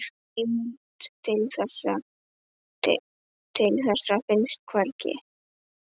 Heimild til þessa finnst hvergi.